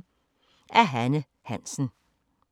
Af Hanne Hansen